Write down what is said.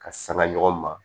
Ka sanga ɲɔgɔn ma